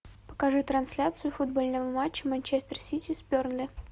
покажи трансляцию футбольного матча манчестер сити с бернли